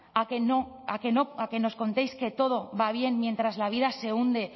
a que nos contéis que todo va bien mientras la vida se hunde